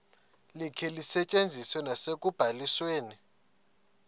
likhe lisetyenziswe nasekubalisweni